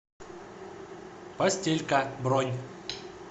постелька бронь